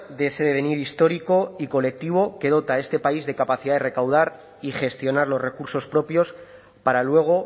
de ese devenir histórico y colectivo que dota a este país de capacidad de recaudar y gestionar los recursos propios para luego